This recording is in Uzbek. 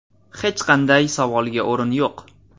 Hech qanday savolga o‘rin yo‘q.